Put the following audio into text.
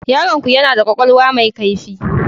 Yaronku yana da kwakwalwa mai kaifi.